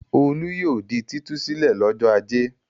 Olú yóò di títú sílẹ̀ lọ́jọ́ ajé.